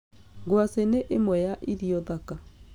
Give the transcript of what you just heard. Ngwacĩ nĩ ĩmwe ya irio thaka